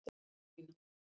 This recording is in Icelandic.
Karólína